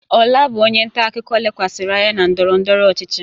Ola bụ onye nta akụkọ lekwasịrị anya na ndọrọ ndọrọ ọchịchị.